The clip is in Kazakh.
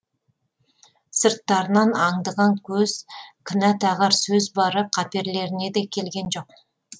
сырттарынан аңдыған көз кінә тағар сөз бары қаперлеріне де келген жоқ